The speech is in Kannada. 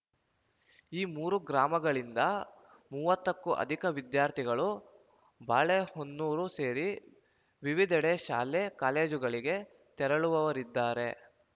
ಈ ಮೂರು ಗ್ರಾಮಗಳಿಂದ ಮೂವತ್ತಕ್ಕೂ ಅಧಿಕ ವಿದ್ಯಾರ್ಥಿಗಳು ಬಾಳೆಹೊನ್ನೂರು ಸೇರಿ ವಿವಿಧೆಡೆ ಶಾಲೆ ಕಾಲೇಜುಗಳಿಗೆ ತೆರಳುವವರಿದ್ದಾರೆ